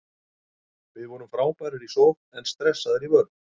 Við vorum frábærir í sókn en stressaðir í vörn.